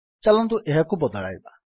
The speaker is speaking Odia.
ଚାଲନ୍ତୁ ଏହା ବଦଳାଇବା